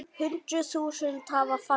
Hundruð þúsunda hafa fallið.